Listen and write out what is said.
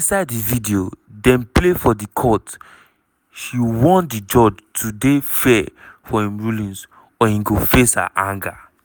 inside di video dem play for di court she warn di judge to dey "fair for im rulings or e go face her anger."